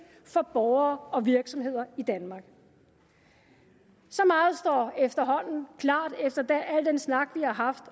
for borgere og virksomheder i danmark så meget står efterhånden klart efter al den snak vi har haft